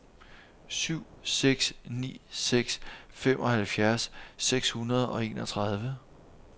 syv seks ni seks femoghalvfjerds seks hundrede og enogtredive